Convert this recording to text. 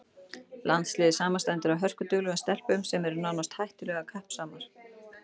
Landsliðið samanstendur af hörkuduglegum stelpum sem eru nánast hættulega kappsamar.